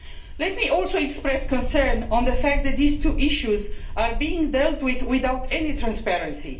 Let me also express concern about the fact that these two issues are being dealt with without any transparency.